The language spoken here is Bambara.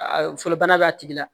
A fɔlɔbana b'a tigi la